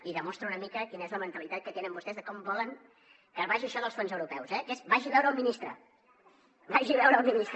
i demostra una mica quina és la mentalitat que tenen vostès de com volen que vagi això dels fons europeus eh que és vagi a veure el ministre vagi a veure el ministre